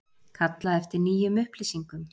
Kallað eftir nýjum upplýsingum